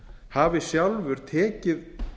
hafi sjálfur tekið